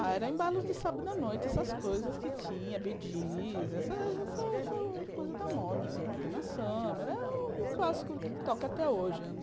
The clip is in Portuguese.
Ah, era embalos de sábado à noite, essas coisas que tinha, bee gees, essa coisa da moda, Dana Summer, o clássico que toca até hoje anos